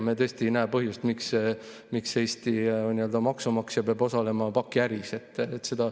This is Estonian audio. Me tõesti ei näe põhjust, miks Eesti maksumaksja peaks osalema pakiäris.